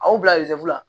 Aw bila la